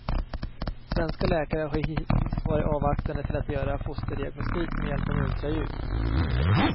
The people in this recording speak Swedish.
Svenska läkare har hittills varit avvaktande till att göra fosterdiagnostik med hjälp av ultraljud.